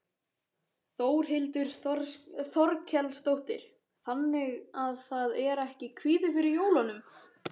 Þórhildur Þorkelsdóttir: Þannig að það er ekki kvíði fyrir jólunum?